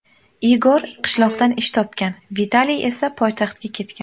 Igor qishloqdan ish topgan, Vitaliy esa poytaxtga ketgan.